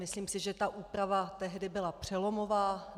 Myslím si, že ta úprava tehdy byla přelomová.